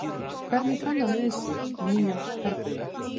Hvernig kann hann við sig í nýjum herbúðum?